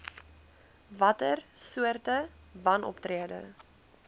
watter soorte wanoptrede